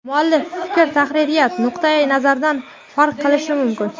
Muallif fikr tahririyat nuqtayi nazaridan farq qilishi mumkin.